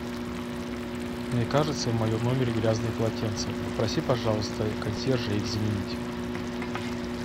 мне кажется в моем номере грязные полотенца попроси пожалуйста консьержа их заменить